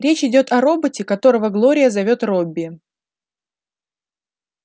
речь идёт о роботе которого глория зовёт робби